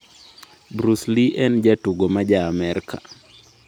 Bruce Lee en jatugo ma ja Amerka.